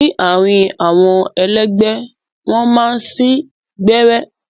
Ni àárín àwọn ẹlẹgbẹ, wọn máa n sìn gbẹrẹ.